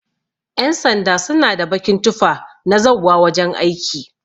Ƴan sanda suna da bakin tufa na zauwa wajan aiki.